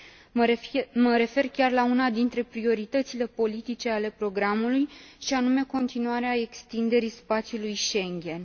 Mă refer chiar la una dintre prioritățile politice ale programului, și anume continuarea extinderii spațiului Schengen.